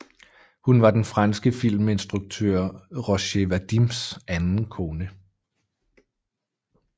Hun var den franske filminstruktør Roger Vadims anden kone